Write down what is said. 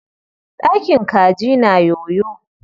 Ɗakin kaji na yoyo.